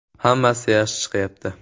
Hammasi yaxshi chiqyapti.